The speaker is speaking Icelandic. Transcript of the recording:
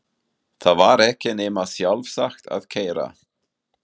Það var ekki nema sjálfsagt að keyra